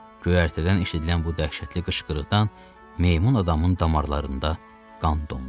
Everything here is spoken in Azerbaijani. Göyərtədən eşidilən bu dəhşətli qışqırıqdan meymun adamın damarlarında qan dondu.